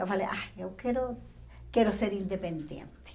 Eu falei, ah, eu quero quero ser independente.